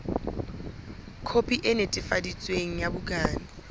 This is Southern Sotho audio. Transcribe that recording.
khopi e netefaditsweng ya bukana